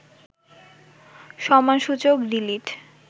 সম্মানসূচক ডি.লিট